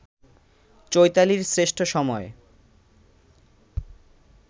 চৈতালির শ্রেষ্ঠ সময়